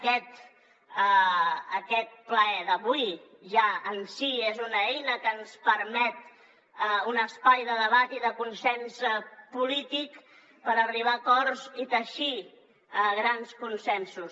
aquest ple d’avui ja en si és una eina que ens permet un espai de debat i de consens polític per arribar a acords i teixir grans consensos